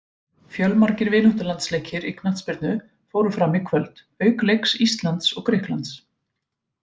Fjölmargir vináttulandsleikir í knattspyrnu fóru fram í kvöld auk leiks Íslands og Grikklands.